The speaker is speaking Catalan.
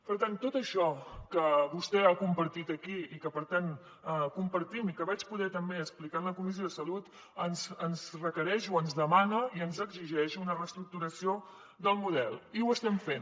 per tant tot això que vostè ha compartit aquí i que per tant compartim i que vaig poder també explicar en la comissió de salut ens requereix o ens demana i ens exigeix una reestructuració del model i ho estem fent